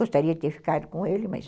Gostaria de ter ficado com ele, mas...